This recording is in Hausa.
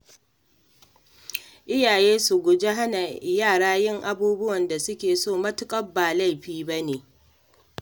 Iyaye su guji hana yara yin abubuwan da suke so matuƙar ba laifi ba ne.